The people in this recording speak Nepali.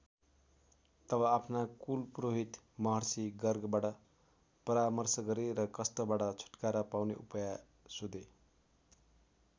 तब आफ्ना कुल पुरोहित महर्षि गर्गबाट परामर्श गरे र कष्टबाट छुटकारा पाउने उपाय सोधे।